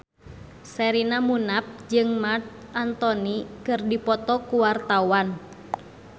Sherina Munaf jeung Marc Anthony keur dipoto ku wartawan